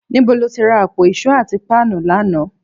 Níbo lo ti ra àpò ìṣó àti páànù lánàá?